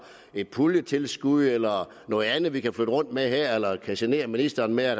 et puljetilskud eller noget andet vi kan flytte rundt med her eller kan genere ministeren med at